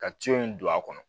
Ka in don a kɔnɔ